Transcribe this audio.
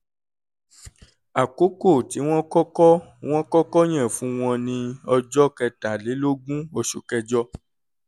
àkókò tí wọ́n kọ́kọ́ wọ́n kọ́kọ́ yàn fún wọn ni ọjọ́ kẹtàlélógún oṣù kẹjọ